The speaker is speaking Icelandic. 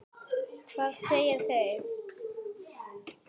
Hvað segja þeir?